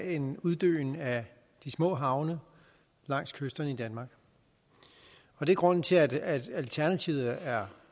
en uddøen af de små havne langs kysterne i danmark det er grunden til at alternativet er